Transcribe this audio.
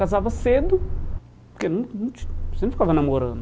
Casava cedo, porque não não você não ficava namorando.